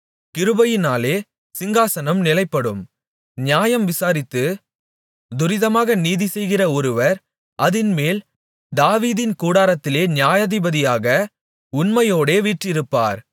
கிருபையினாலே சிங்காசனம் நிலைப்படும் நியாயம் விசாரித்துத் துரிதமாக நீதிசெய்கிற ஒருவர் அதின்மேல் தாவீதின் கூடாரத்திலே நியாயாதிபதியாக உண்மையோடே வீற்றிருப்பார்